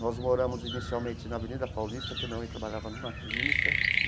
Nós moramos inicialmente na Avenida Paulista, que a minha mãe trabalhava numa clínica.